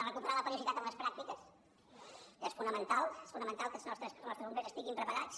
recuperar la periodicitat en les pràctiques és fonamental que els nostres bombers estiguin preparats